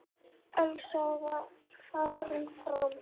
Elsa var farin fram.